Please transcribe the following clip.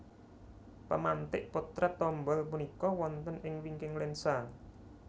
Pemantik Potret Tombol punika wonten ing wingking lensa